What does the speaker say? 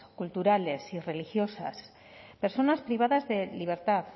culturales y religiosas personas privadas de libertad